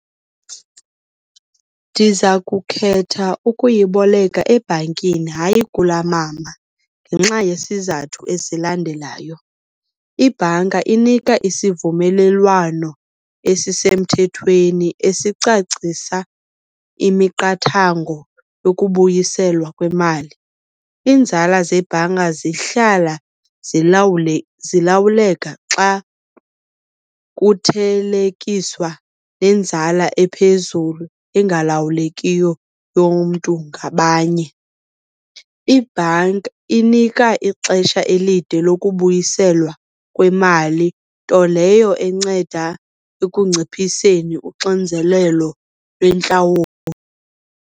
Ndiza kukhetha ukuyiboleka ebhankini, hayi kula mama ngenxa yesizathu esilandelayo. Ibhanka inika isivumelelwano esisemthethweni esicacisa imiqathango yokubuyiselwa kwemali. Iinzala zebhanka zihlala zilawuleka xa kuthelekiswa nenzala ephezulu engalawulekiyo yomntu ngabanye. Ibhanki inika ixesha elide lokubuyiselwa kwemali, nto leyo enceda ekunciphiseni uxinzelelo lwentlawulo.